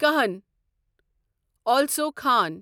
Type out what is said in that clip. کہن السو خان